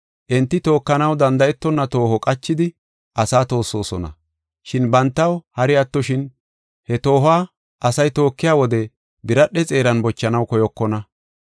Enti tookanaw danda7etonna tooho qachidi asaa toossosona. Shin bantaw hari attoshin, he toohuwa asay tookiya wode biradhe xeeran bochanaw koyokona.